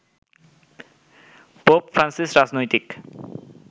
pope Francis রাজনৈতিক